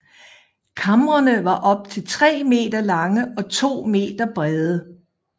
Kamrene var op til 3 meter lange og 2 meter brede